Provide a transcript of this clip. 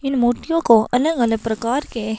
इन मूर्तियों को अलग अलग प्रकार के --